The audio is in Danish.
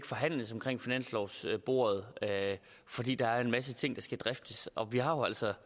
forhandles omkring finanslovsbordet fordi der er en masse ting der skal driftes vi har jo altså